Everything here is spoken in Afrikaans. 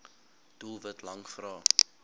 doelwit lang vrae